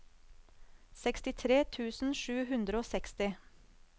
sekstitre tusen sju hundre og seksti